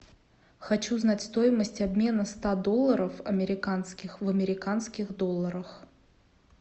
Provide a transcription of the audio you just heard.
хочу знать стоимость обмена ста долларов американских в американских долларах